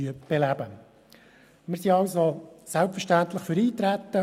Wir sind selbstverständlich für Eintreten.